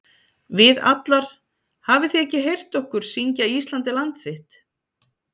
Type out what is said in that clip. Við allar- hafið þið ekki heyrt okkur syngja Ísland er land þitt??